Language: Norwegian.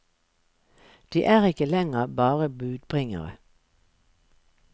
De er ikke lenger bare budbringere.